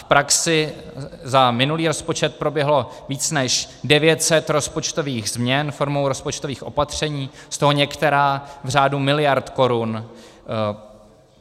V praxi za minulý rozpočet proběhlo více než 900 rozpočtových změn formou rozpočtových opatření, z toho některá v řádu miliard korun.